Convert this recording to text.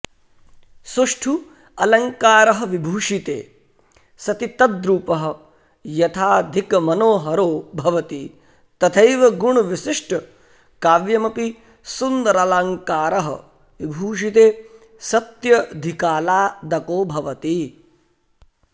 सुष्ठु अलङ्कारः विभूषिते सति तद्रूपः यथाधिकमनोहरो भवति तथैव गुणविशिष्टकाव्यमपि सुन्दरालङ्कारः विभूषिते सत्यधिकालादको भवति